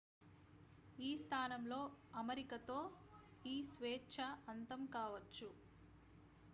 ఈ స్థానంలో అమరికతో ఈ స్వేచ్ఛ అంతం కావచ్చు